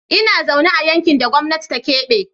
Ina zaune a yankin da gwamnati ta kebe.